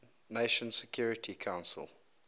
nations security council